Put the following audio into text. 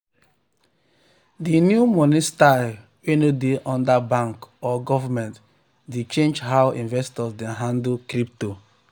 di new money style wey no dey under bank or government dey change how investors dey handle crypto.